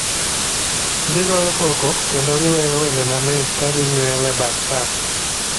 gigoyo koko kendo giwero wende mamit ka gi miel e bath pap.